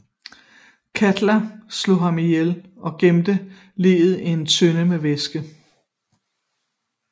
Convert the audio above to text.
Katla slog ham ihjel og gemte liget i en tønde med væske